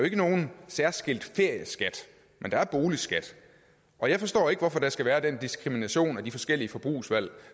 ikke nogen særskilt ferieskat men der er en boligskat og jeg forstår ikke hvorfor der skal være den diskrimination af de forskellige forbrugsvalg